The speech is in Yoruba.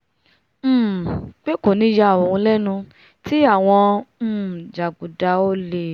um pé kò ní yà òun lẹ́nu tí àwọn um jàgùdà olè